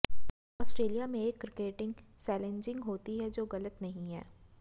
Australia में एक cricketing sledging होती है जो गलत नहीं है